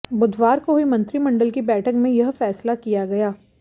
बुधवार को हुई मंत्रिमंडल की बैठक में यह फैसला किया गया